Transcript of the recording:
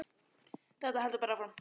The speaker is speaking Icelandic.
Þetta heldur bara áfram.